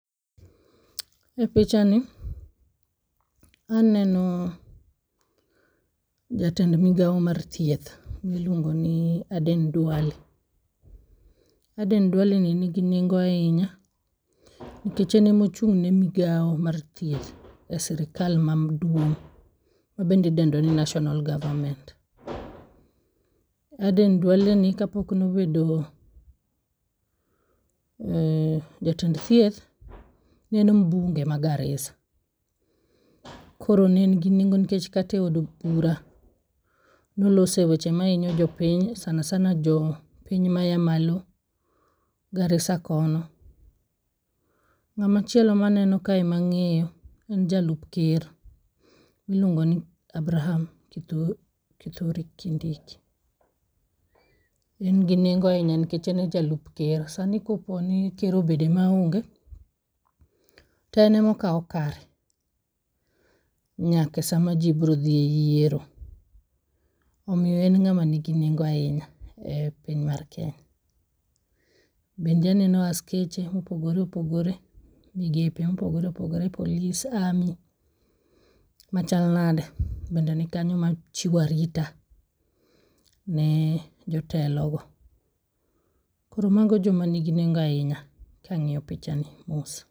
E picha ni aneno jatend Migawo mar Thieth, miluongo ni Aden Duale. Aden Duale ni nigi nengo ahinya nikech en emochung' ne migao mar thieth e sirikal maduong' midendo ni National Government. Aden Duale ni kapok nobedo jatend CS, ne en [csMbunge ma Garissa. Koro ne en gi nengo nikech kateod bura nolose weche mahinyo jopiny, sana sana jo piny maya malo Garissa kono. Ng'amachielo maneno kae mang'eyo en jalup Ker, miluongo ni Abraham Kithure Kindiki. En gi nengo ahinya nikech en e jalup ker. Sani koponi ker obede maonge, to en emokawo kare nyake sama ji bro dhi e yiero. Omiyo en ng'ama nigi nengo ahinya e piny mar Kenya. Bende aneno askeche mopogore opogore, migepe mopogore opogore polis ami machal nade bende nikanyo machiwo arita ne jotelogo. Koro mago joma nigi nengo ahinya kang'iyo picha ni mos.